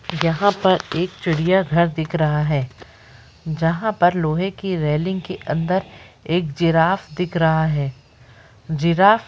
यहां पर एक चिड़ियाघर दिख रहा है जहां पर लोहे के रैलिंग के अंदर एक जिराफ दिख रहा है जिराफ--